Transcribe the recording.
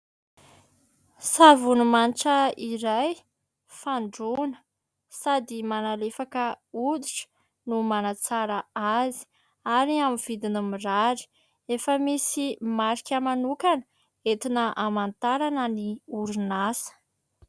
Savony manitra iray fandroana sady manalefaka oditra no manatsara azy ary amin'ny vidiny mirary, efa misy marika manokana entina hamantarana ny orinasa.